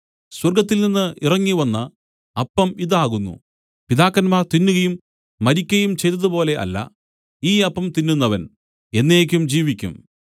സ്വർഗ്ഗത്തിൽനിന്നു ഇറങ്ങിവന്ന അപ്പം ഇതു ആകുന്നു പിതാക്കന്മാർ തിന്നുകയും മരിക്കയും ചെയ്തതുപോലെ അല്ല ഈ അപ്പം തിന്നുന്നവൻ എന്നേക്കും ജീവിക്കും